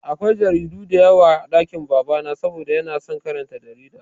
Akwai jaridu diyawa a ɗakin baba na saboda yana son karanta jarida